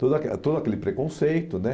Todo aquela todo aquele preconceito, né?